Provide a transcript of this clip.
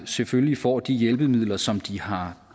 selvfølgelig får de hjælpemidler som de har